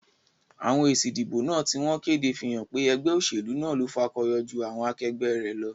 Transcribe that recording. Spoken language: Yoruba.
Àwon èsì ìdìbò náà tí wón kéde fí hán pé egbé òsèlú náà lo fakoyo jú àwon akegbé rè lo